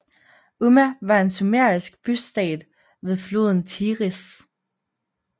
Umma var en sumerisk bystat ved floden Tigris